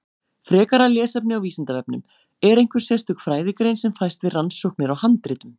Frekara lesefni á Vísindavefnum: Er einhver sérstök fræðigrein sem fæst við rannsóknir á handritum?